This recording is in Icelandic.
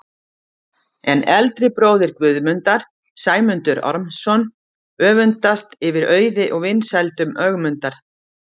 En eldri bróðir Guðmundar, Sæmundur Ormsson, öfundast yfir auði og vinsældum Ögmundar.